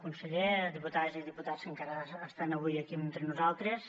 conseller diputades i diputats que encara estan avui aquí entre nosaltres